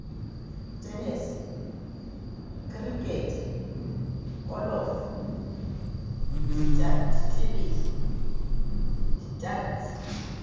tenese krikete kolofo ditebele ditantshe